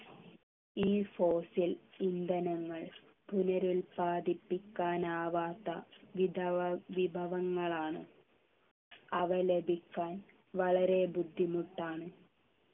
ഈ fossil ഇന്ധനങ്ങൾ പുനരുല്പാദിപ്പിക്കാൻ ആവാത്ത വിധവ വിഭവങ്ങളാണ് അവ ലഭിക്കാൻ വളരെ ബുദ്ധിമുട്ടാണ്